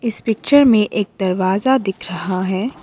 इस पिक्चर में एक दरवाजा दिख रहा है।